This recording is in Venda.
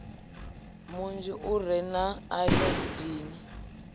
munzhi u re na ayodini